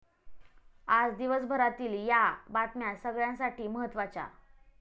आज दिवसभरातील या बातम्या सगळ्यांसाठी महत्त्वाच्या